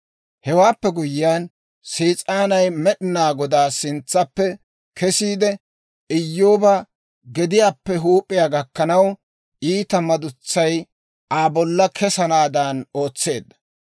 Hewaappe guyyiyaan, Sees'aanay Med'inaa Godaa sintsappe kesiide, Iyyooba gediyaappe huup'iyaa gakkanaw iita madutsay Aa bolla kesanaadan ootseedda.